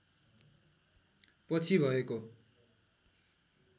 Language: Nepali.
पछि भएको